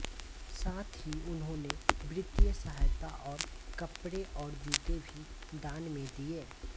साथ ही उन्होंने वित्तीय सहायता और कपड़े और जूते भी दान में दिए